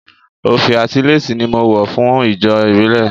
Òfì àti léèsì ni mo wọ̀ fún ijó ìbílẹ̀